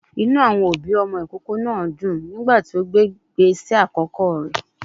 Inú àwọn òbí ìkókó náà dùn nígbà tí ó gbé ìgbésẹ àkọ́kọ́ rẹ̀.